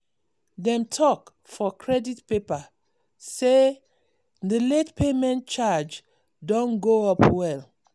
dem talk for credit paper say the late payment charge don go up well.